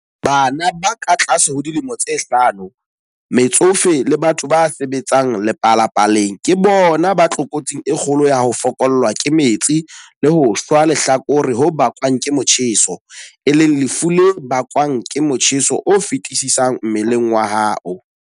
Bana ba katlase ho dilemo tse hlano, metsofe le batho ba sebetsang lepalapaleng ke bona ba tlokotsing e kgolo ya ho fokollwa ke metsi le ho shwa lehlakore ho bakwang ke motjheso, e leng lefu le bakwang ke motjheso o feti-sisang mmeleng wa hao.